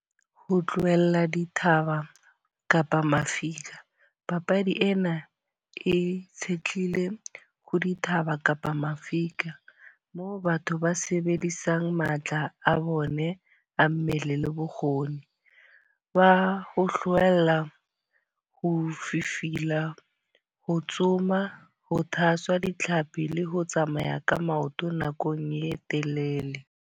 Ho tlohella dithaba kapa mafika. Papadi ena e itshetlile ho dithaba kapa mafika. Moo batho ba sebedisang matla a bone a mmele le bokgoni. Ba ho hlohella, ho fifihela ho tsoma, ho tshwasa ditlhapi le ho tsamaya ka maoto nakong e telele